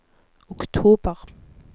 oktober